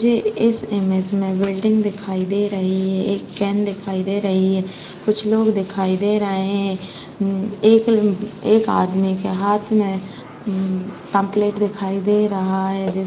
मुझे इस इमेज में बिल्डिंग दिखाई दे रही है। एक केन दिखाई दे रही है कुछ लोग दिखाई दे रहे है उम एक उम एक आदमी के हाथ में उम पंपप्लेट दिखाई दे रहा है।